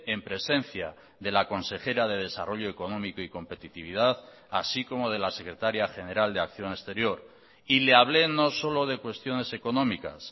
en presencia de la consejera de desarrollo económico y competitividad así como de la secretaria general de acción exterior y le hablé no solo de cuestiones económicas